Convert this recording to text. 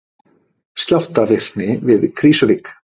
Skjálftavirkni við Krýsuvík